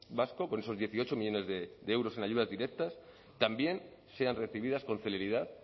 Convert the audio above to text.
vasco con esos dieciocho millónes de euros en ayudas directas también sean recibidas con celeridad